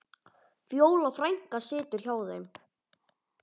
Fjóla frænka situr hjá þeim.